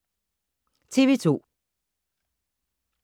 TV 2